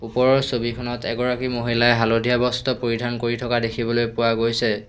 ওপৰৰ ছবিখনত এগৰাকী মহিলাই হালধীয়া বস্ত্ৰ পৰিধান কৰি থকা দেখিবলৈ পোৱা গৈছে।